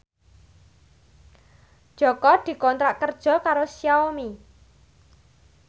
Jaka dikontrak kerja karo Xiaomi